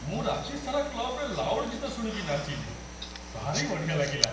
ମୁଁ ରାତି ସାରା କ୍ଲବ୍‌ରେ ଲାଉଡ୍ ଗୀତ ଶୁଣିକି ନାଚିଲି । ଭାରି ବଢ଼ିଆ ଲାଗିଲା ।